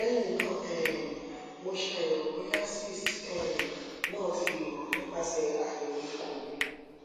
lehin na um mo se ayewo boya cysts um na ti yoro nipase ayewo ikun mi